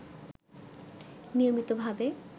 নিয়মিতভাবে